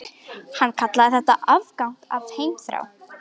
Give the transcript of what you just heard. Hann kallaði þetta afgang af heimþrá.